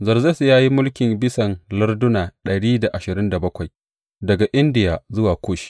Zerzes ya yi mulki bisan larduna dari da ashirin da bakwai daga Indiya zuwa Kush.